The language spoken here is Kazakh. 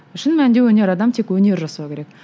шын мәнінде өнер адам тек өнер жасауы керек